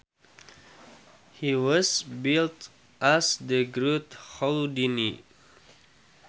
He was billed as The Great Houdini